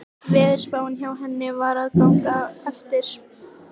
Veðurspáin hjá henni var að ganga eftir.